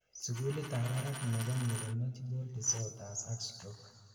sugulit ab barak nebo neurological disorders ak stroke